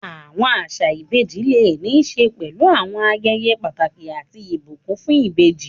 Àwọn àṣà ìbejì lè ní í ṣe pẹ̀lú àwọn ayẹyẹ pàtàkì àti ìbùkún fún ìbejì.